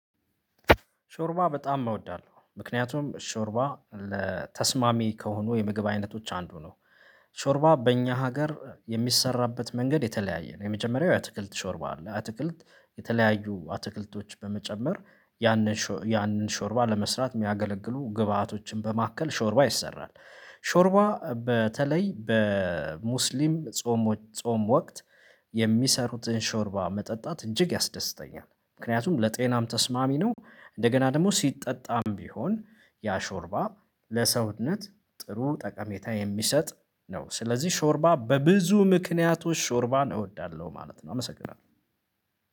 ሾርባ በጣም እወዳለሁ ምክንያቱም ሾርባ ለተስማሚ ከሆኑ የምግብ አይነቶች አንዱ ነው። ሾርባ በእኛ ሀገር የሚሰራበት መንገድ የተለያየ ነው የመጀመሪያው የአትክልት ሾርባ አለ አትክልት የተለያዩ አትክልቶች በመጨመር ያንን ሾ ያንን ያንን ሾርባ ለመስራት የሚያገለግሉ ግብአቶችን በማከል ሾርባ ይሰራል። ሾርባ በተለይ በሙስሊም ጾም ጾም ወቅት የሚሰሩትን ሾርባ መጠጣት እጅግ ያስደስተኛል ምክንያቱም ለጤናም ተስማሚ ነው። እንደገና ደግሞ ሲጠጣም ቢሆን ያ ሾርባ ለሰውነት ጥሩ ጠቀሜታ የሚሰጥ ነው። ስለዚህ ሾርባ በብዙ ምክንያቶች ሾርባ እወዳለሁ ማለት ነው። አመሰግናለሁ